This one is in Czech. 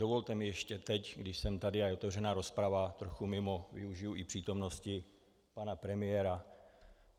Dovolte mi ještě teď, když jsem tady a je otevřená rozprava, trochu mimo využiji i přítomnosti pana premiéra.